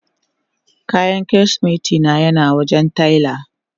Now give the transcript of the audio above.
Kayan kirisimeti na yana wajen taila.